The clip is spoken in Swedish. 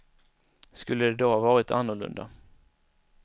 Skulle det då ha varit annorlunda?